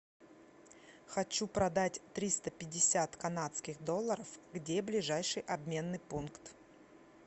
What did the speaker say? хочу продать триста пятьдесят канадских долларов где ближайший обменный пункт